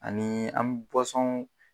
Ani mi